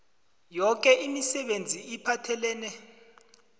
yoke imisebenzi ephathelene